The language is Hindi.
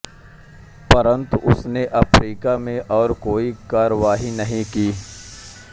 परंतु उसने अफ्रीका में और कोई कार्यवाही नहीं की